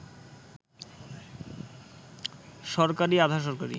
সরকারি, আধা-সরকারি